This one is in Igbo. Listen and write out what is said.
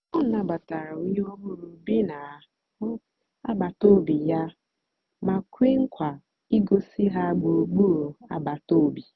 ọ nàbàtàra ònyè ọ̀hụrụ́ bì na àgbátobị̀ yà mà kwéè nkwa ìgòsí ha gbùrùgbùrù àgbàtà òbì.